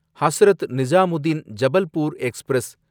Hazrat Nizamuddin Jabalpur express